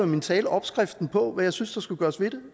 min tale opskriften på hvad jeg synes der skulle gøres ved det